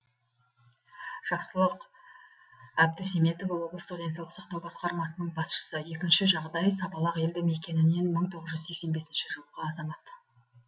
жақсылық әбдусеметов облыстық денсаулық сақтау басқармасының басшысы екінші жағдай сабалақ елді мекенінен мың тоғыз жүз сексен бесінші жылғы азамат